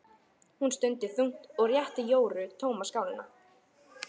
Hún stundi þungt og rétti Jóru tóma skálina.